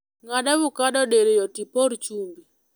Ng'ad avokado diriyo tipor chumbi